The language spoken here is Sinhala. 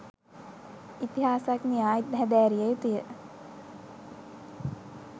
ඉතිහසඥයා හැදෑරිය යුතු ය